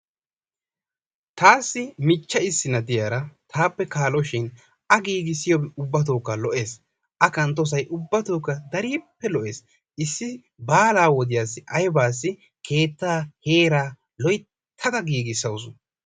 Taassi michcha issinna diyara taappe kaaloshin a giigossiyobay ubbatookka lo'es. A kanttosay ubbatookka darippe lo'ees. baalaa wodiyassi ayibaassi kettaa heeraa loyittada giigissawusu.